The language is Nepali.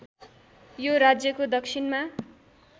यो राज्यको दक्षिणमा